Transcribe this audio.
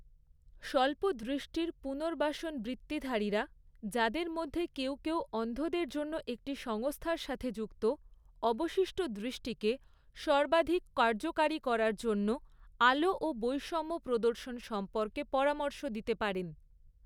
স্বল্প দৃষ্টির পুনর্বাসন বৃত্তিধারীরা, যাদের মধ্যে কেউ কেউ অন্ধদের জন্য একটি সংস্থার সাথে যুক্ত, অবশিষ্ট দৃষ্টিকে সর্বাধিক কার্যকারী করার জন্য আলো ও বৈষম্য প্রদর্শন সম্পর্কে পরামর্শ দিতে পারেন।